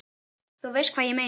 þú veist hvað ég meina.